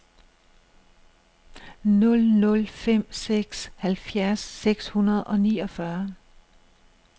nul nul fem seks halvfjerds seks hundrede og niogfyrre